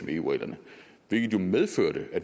med eu reglerne hvilket jo medførte at